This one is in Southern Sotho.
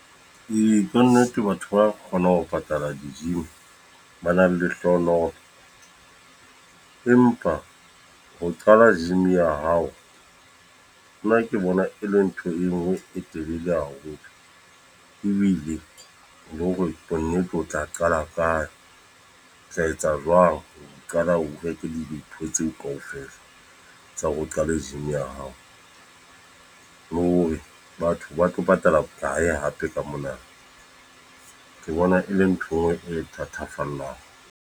Kannete batho ba kgonang ho patala di-gym, ba nang lehlohonolo, empa ho qala gym ya hao nna ke bona e le ntho e ngwe e telele haholo ebile le hore bonnnete o tla qala kae o tla etsa jwang ho qala, o reke dintho tseo kaofela tsa hore o qale gym ya hao le hore batho ba tlo patala bokae hape ka mona. Ke bona e le ntho enngwe e nthatafallang.